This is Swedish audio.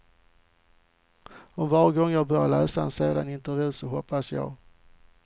Och varje gång jag börjar läsa en sån intervju så hoppas jag.